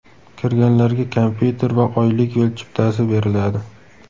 Kirganlarga kompyuter va oylik yo‘l chiptasi beriladi.